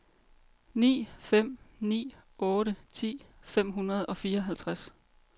ni fem ni otte ti fem hundrede og fireoghalvtreds